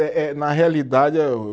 Eh, eh, na realidade eu